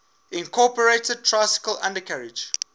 incorporated tricycle undercarriage